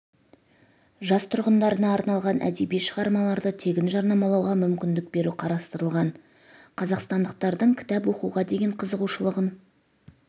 жас тұрғындарына арналған әдеби шығармаларды тегін жарнамалауға мүмкіндік беру қарастырылған қазақстандықтардың кітап оқуға деген қызығушылығын